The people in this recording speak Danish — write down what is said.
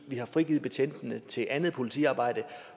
vi har frigivet betjentene til andet politiarbejde